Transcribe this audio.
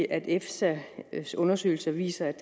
at efsas undersøgelser viser